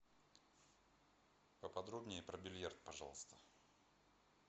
поподробнее про бильярд пожалуйста